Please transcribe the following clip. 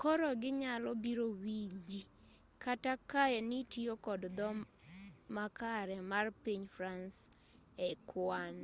koro ginyalo biro winji kata kaa nitiyo kod dho makare mar piny france e kwan